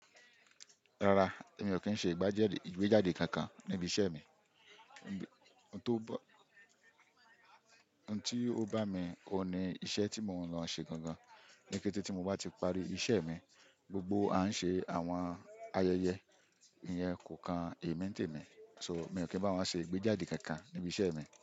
Rárá, èmi ò kí ń ṣe igbajede ìgbéjáde kankan níbi iṣẹ́ mi. Ohun ti ó bá mi òhun ní iṣẹ́ tí mò ń lọ ṣe gangan. Nikéte tí mo bá ti parí iṣẹ́ mi, gbogbo a ń ṣe àwọn ayẹyẹ, ìyẹn kò kan émí n tèmi. So mii n kí n bá wọ́n ṣe ìgbéjáde kankan níbi iṣẹ́ mi.